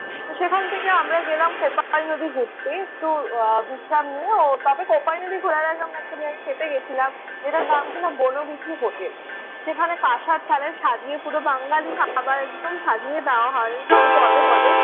সেখান থেকে আমরা গেলাম কোপাই নদী ঘুরতে। একটু বিশ্রাম নিয়ে তবে কোপাই নদী ঘোরার আগে আমরা একটা জায়গায় খেতে গেছিলাম সেটার নাম ছিল বনবিথী হোটেল। সেখানে কাসার থালায় সাজিয়ে পুরো বাঙালি খাবার একদম সাজিয়ে দেওয়া হয় পুরো পদে পদে।